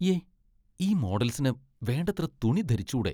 യ്യേ ! ഈ മോഡൽസിന് വേണ്ടത്ര തുണി ധരിച്ചൂടെ!